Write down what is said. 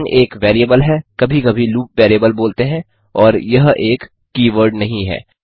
line एक variable है कभी कभी लूप वैरिएबल बोलते हैं और यह एक कीवर्ड नहीं है